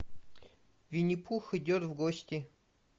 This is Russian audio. винни пух идет в гости